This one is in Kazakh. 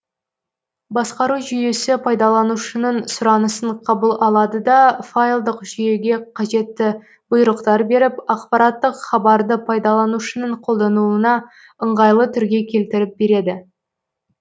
басқару жүйесі пайдаланушының сұранысын қабыл алады да файлдық жүйеге қажетті бұйрықтар беріп ақпараттық хабарды пайдаланушының қолдануына ыңғайлы түрге келтіріп береді